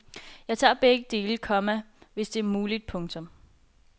Jeg tager begge dele, komma hvis det er muligt. punktum